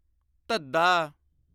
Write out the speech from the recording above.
ਧੱਧਾ